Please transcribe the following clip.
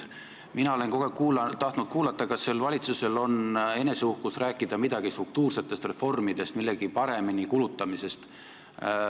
Mina olen kogu aeg tahtnud kuulda, kas see valitsus räägib uhkelt midagi struktuursetest reformidest, millegi paremini kulutamisest.